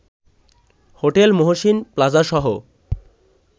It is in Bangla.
হোটেল মহসীন প্লাজাসহ